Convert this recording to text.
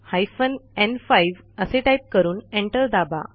hyphen न्5 असे type करून एंटर दाबा